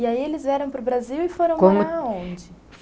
E aí eles vieram para o Brasil e foram aonde?